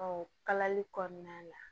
Ɔ kalali kɔnɔna la